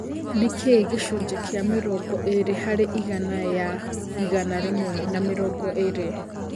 nĩ kĩ gicũnjĩ kia mĩrongo ĩrĩ harĩ ĩgana ya ĩgana rĩmwe na mĩrongo ĩrĩ